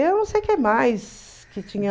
Eu não sei que mais que tinha.